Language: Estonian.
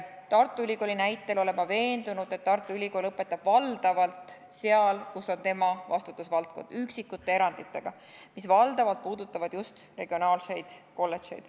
Tartu Ülikooli näitel olen ma veendunud, et Tartu Ülikool õpetab valdavalt seal, kus on tema vastutusvaldkond, üksikute eranditega, mis valdavalt puudutavad just regionaalseid kolledžeid.